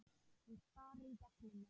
Hún starir í gegnum mig.